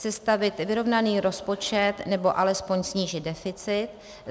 Sestavit vyrovnaný rozpočet, nebo alespoň snížit deficit.